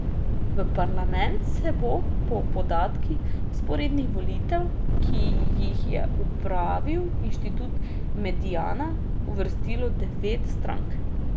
V parlament se bo po podatkih vzporednih volitev, ki jih je opravil Inštitut Mediana, uvrstilo devet strank.